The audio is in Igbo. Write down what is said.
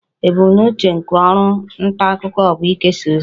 Ebumnuche nke ọrụ nta akụkọ bụ ikesa ozi